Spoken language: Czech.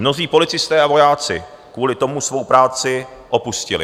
Mnozí policisté a vojáci kvůli tomu svou práci opustili.